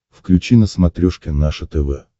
включи на смотрешке наше тв